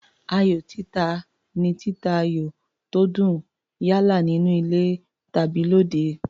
Ayò títa ni títa ayò tó dùn, yálà nínú tàbí lóde.